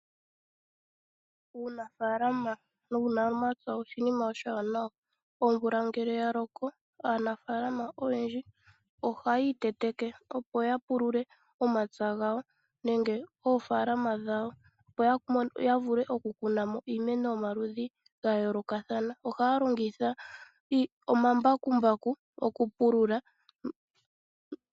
Uunafalama nuunamapya oshinima oshiwanawa, omvula ngele yaloko aanafalama oyendji ohayi iteteke, opo yapulule momapya gawo nenge oofaalama dhawo ya vule okukuna mo iimeno yomaludhi gayoolokathana. Ohaya longitha omambakumbaku okupulula.